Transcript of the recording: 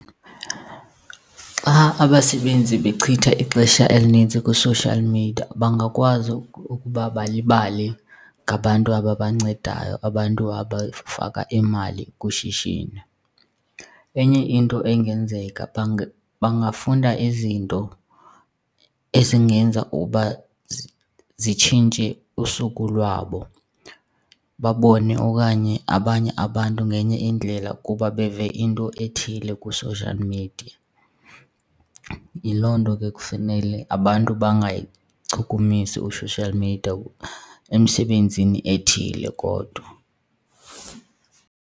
Xa abasebenzi bechitha ixesha elinintsi kwi-social media bangakwazi ukuba balibale ngabantu ababancedayo, abantu abafaka imali kwishishini. Enye into engenzeka bangafunda izinto ezingenza uba zitshintshe usuku lwabo, babone okanye abanye abantu ngenye indlela kuba beve into ethile kwi-social media. Yiloo nto ke kufanele abantu bangayichukumisi u-social media, emsebenzini ethile kodwa.